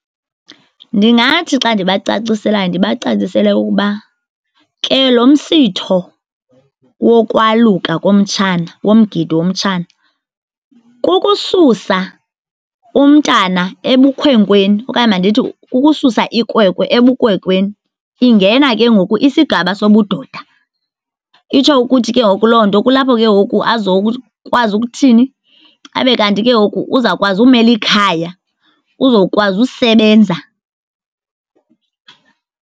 Ndingathi xa ndibacaciselayo ndibacacisele ukuba ke lo msitho wokwaluka komtshana, womgidi womtshana, kukususa umntana ebukhwenkweni okanye mandithi kukususa ikwekwe ebukwekweni ingena ke ngoku isigaba sobudoda. Itsho ukuthi ke ngoku loo nto kulapho ke ngoku azokwazi ukuthini, abe kanti ke ngoku uzawukwazi ukumela ikhaya, uzokwazi usebenza.